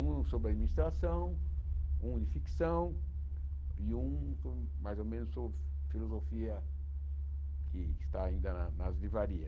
Um sobre administração, um de ficção e um com mais ou menos sobre filosofia que está ainda nas nas